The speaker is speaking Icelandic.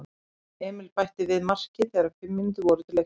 Emil bætti svo við marki þegar fimm mínútur voru til leiksloka.